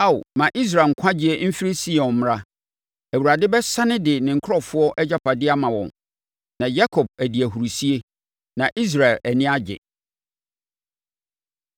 Ao, ma Israel nkwagyeɛ mfiri Sion mmra! Awurade bɛsane de ne nkurɔfoɔ agyapadeɛ ama wɔn. Na Yakob adi ahurisie, na Israel ani agye!